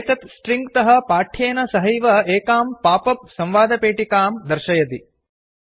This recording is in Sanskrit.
एतत् स्ट्रिंग तः पाठ्येन सहैव एकां पापप् संवादपेटिकां डयलाग् बाक्स् दर्शयति